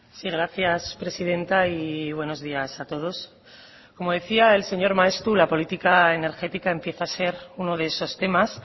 sí gracias presidenta y buenos días a todos como decía el señor maeztu la política energética empieza a ser uno de esos temas